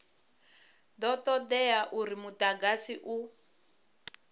do todea uri mudagasi u